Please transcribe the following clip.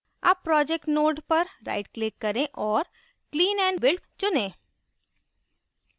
अब project node पर right click करें औऱ clean & build चुनें